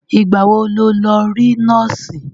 Ìgbà wo ló lọ rí nọ́ọ̀sì?